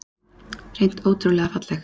Hreint ótrúlega falleg